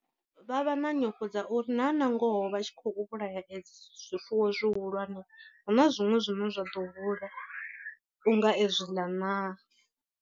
Vha vha na nyofho dza uri na nangoho vha tshi khou vhulaya adzi zwifuwo zwihulwane hu na zwiṅwe zwine zwa ḓo hula u nga ezwi ḽa naa.